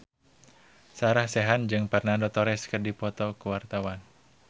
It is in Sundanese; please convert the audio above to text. Sarah Sechan jeung Fernando Torres keur dipoto ku wartawan